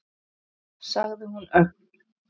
sagði hún örg.